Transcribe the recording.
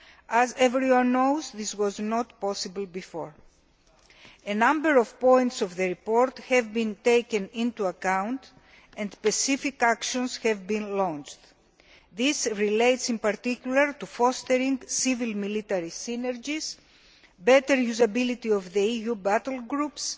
As everyone knows, this was not possible before. A number of points in the report have been taken into account, and specific actions have been launched. This relates, in particular, to fostering civil military synergies, better usability of the EU battle groups,